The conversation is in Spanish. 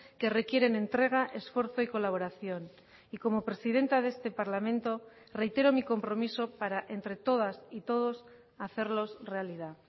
que requieren entrega esfuerzo y colaboración y como presidenta de este parlamento reitero mi compromiso para entre todas y todos hacerlos realidad